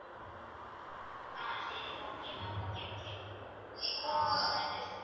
ஆஹ் சரி okay ma'am okay okay